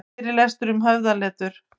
Fyrirlestur um höfðaletur